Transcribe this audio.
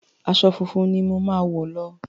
Aṣọ funfun ni mo ma wọ̀ lọ.